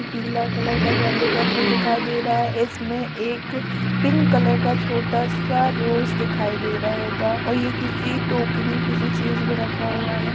पीला कलर का गेंदे का फूल दिखाई दे रहा है | इसमें एक पिंक कलर का छोटा सा रोज़ दिखाई दे रहा होगा और ये किसी टोकरी किसी चीज में रखा हुआ है ।